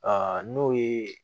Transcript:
n'o ye